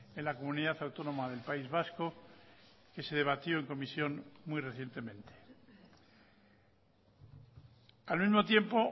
en la comunidad autónoma del país vasco que se debatió en comisión muy recientemente al mismo tiempo